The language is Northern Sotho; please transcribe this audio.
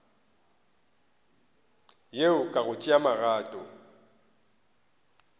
yeo ka go tšea magato